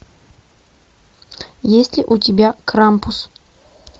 есть ли у тебя крампус